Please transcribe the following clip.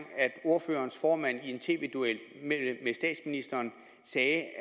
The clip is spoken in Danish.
ordførerens formand i en tv duel med statsministeren sagde at